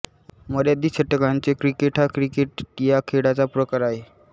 मर्यादित षटकांचे क्रिकेट हा क्रिकेट या खेळाचा प्रकार आहे